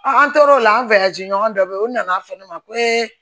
an tor'o la an ɲɔgɔn dɔ bɛ yen u nana fɛ ne ma ko